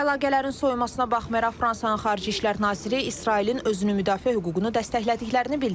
Əlaqələrin soyumasına baxmayaraq, Fransanın Xarici İşlər Naziri İsrailin özünü müdafiə hüququnu dəstəklədiklərini bildirib.